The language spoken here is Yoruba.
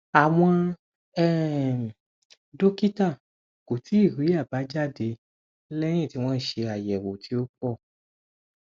àwọn um dókítà kò tíì rí àbájáde léyìn tí wọn ṣe ayewo tí ó pọ